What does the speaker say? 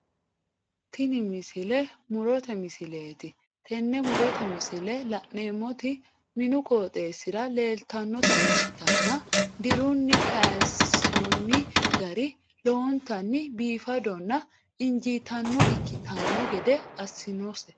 Tini misile mu'rote misileeti tenne mu'rote misile la'neemmoti minu qooxeessira leeltannota ikkitanna dirunni kaaysoonni gari lowontanni biifadonna injiitannota ikkitanno gede assinose.